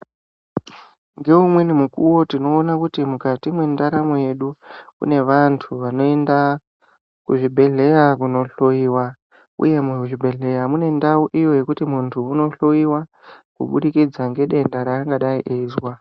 Ngeumweni mukuvo tinoona kuti mukati mwendaramo yedu. Kune vantu vanoenda kuzvibhedhlera kunohloiwa, uye muzvibhedhleya munendau iyo yekuti muntu unohloiwa kubudikidza ngedenda rangadai eizwa.